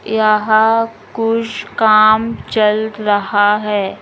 यहाँ कुछ काम चल रहा है ।